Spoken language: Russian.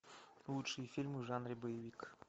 лучшие фильмы в жанре боевик